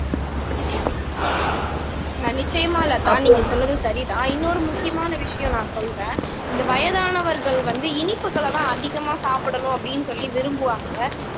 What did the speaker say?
ஆஹ் நிச்சயமா லதா நீங்க சொன்னது சரிதான் இன்னொரு முக்கியமான விஷயம் நான் சொல்றேன் இந்த வயதானவர்கள் வந்து இனிப்புகளைதான் அதிகமா சாப்பிடணும் அப்படின்னு சொல்லி விரும்புவாங்க